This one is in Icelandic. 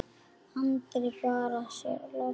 Andi bara að sér loftinu.